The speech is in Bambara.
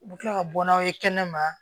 U bɛ kila ka bɔ n'aw ye kɛnɛma